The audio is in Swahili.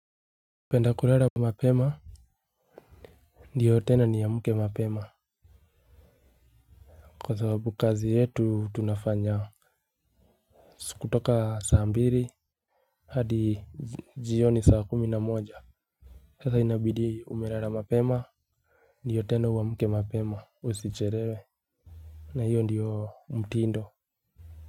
Penda kulala kwa mapema. Ndiyo tena niamke mapema. Kwa sababu kazi yetu tunafanya. Kutoka saa mbili hadi jioni saa kumi na moja. Sasa inabidi umelala mapema. Ndiyo tena uamke mapema usichelewe. Na hiyo ndiyo mtindo.